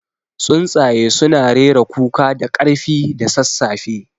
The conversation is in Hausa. Tsuntsaye suna rera kuka da ƙarfi da sassafe.